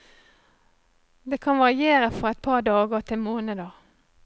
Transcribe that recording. Det kan variere fra et par dager til måneder.